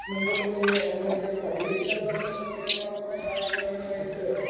മുമ്പോട്ടു നീങ്ങിയ എന്നുവച്ചാൽ ശരീരത്തിനധ്വാനമുള്ള കളികൾ മാത്രമേ കായികപരമായിട്ടുള്ള